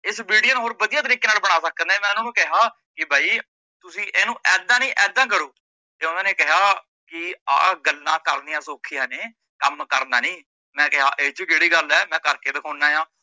ਇਸ video ਨੂੰ ਹੋਰ ਵਧੀਆ ਤਰੀਕੇ ਨਾਲ ਬਣਾ ਸਕਦੇ ਆ ਮੈ ਉਨਾਂ ਨੂੰ ਕਿਹਾ ਕਿ ਏਦਾਂ ਨਹੀਂ ਏਦਾਂ ਕਰੋ ਤੇ ਓਹਨਾਂ ਨੇ ਕਿਹਾ ਕੀ ਆ ਗੱਲਾਂ ਕਰਨੀਆ ਸੋਖੀਆ ਨੇ ਕੰਮ ਕਰਨਾ ਨੀ, ਮੈ ਕਿਹਾ ਏਚ ਕੇੜੀ ਗੱਲ ਏ ਮੈ ਕਰਕੇ ਦਿਖਾਉਨਾਂ ਆ,